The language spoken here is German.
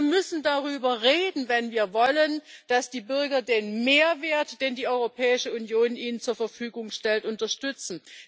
Wir müssen darüber reden, wenn wir wollen, dass die Bürger den Mehrwert, den die Europäische Union ihnen zur Verfügung stellt, unterstützen.